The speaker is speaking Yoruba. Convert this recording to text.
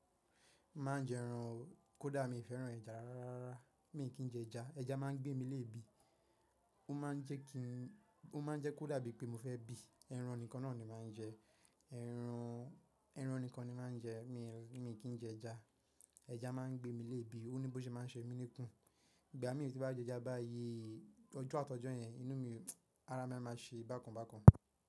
Má n jẹ ẹran o, kódà mi féràn ẹja rara rara, mi kì í jẹ ẹja. Ẹja máa ń gbé mi léèbi, ó máa ń jẹ́ kí, ó máa ń jẹ́ kó dàbí pé mo fẹ́ bí. Ẹran nìkan náà ni màá ń jẹ, ẹran, ẹran nìkan ni màá ń jẹ, mi, mi kì í jẹ ẹja. Ẹja máa ń gbé mi léèbi, ó ní bó ṣe máa ń ṣe mí níkùn. Ìgbà mi ò tí bá jẹ ẹja bá yii ọjọ́ àtọjọ́ yẹn, inú mi, ara mi a máa ṣe bákan bákan.